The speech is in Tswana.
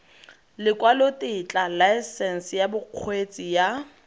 lekwalotetla laesense ya bokgweetsi ya